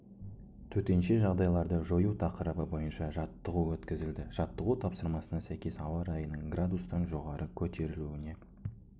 төтенше жағдайларды жою тақырыбы бойынша жаттығу өткізілді жаттығу тапсырмасына сәйкес ауа райының градустан жоғары көтерілуіне